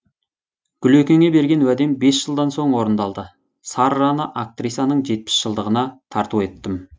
гүлекеңе берген уәдем бес жылдан соң орындалды сарраны актрисаның жетпіс жылдығына тарту еттім